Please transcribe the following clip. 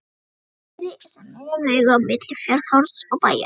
Borðeyri sem er miðja vegu á milli Fjarðarhorns og Bæjar.